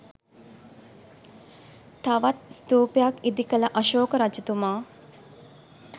තවත් ස්ථූපයක් ඉදිකළ අශෝක රජතුමා